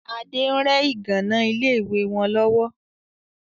Adé ń rẹ ìgànnà ilé ìwé wọn lọ́wọ́